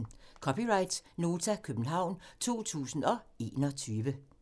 (c) Nota, København 2021